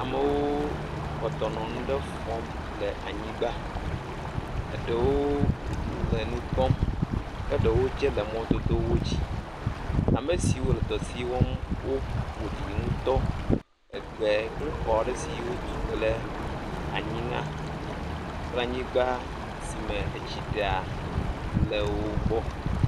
Amewo kpɔtɔ nɔ nu ɖe fɔm le anyigba, ɖewo le nu kpɔm ke ɖewo tsɛ le mɔ dodo dzi. Ame siwo le dɔ si wɔm woƒo ɖi ŋutɔ. Gbe kple xɔ aɖe siwo tu kple anyi la kple anyigba si me etsi ɖea le wo gbɔ.